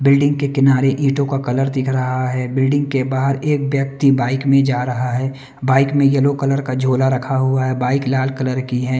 Building के किनारे ईंटों का कलर दिख रहा है बिल्डिंग के बाहर एक व्यक्ति बाइक में जा रहा है बाइक में येलो कलर का झोला रखा हुआ है बाइक लाल कलर की है।